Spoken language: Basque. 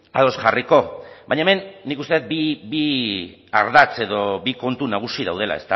ados jarriko baina hemen nik uste dut bi ardatz edo bi kontu nagusi daudela